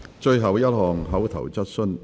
最後一項口頭質詢。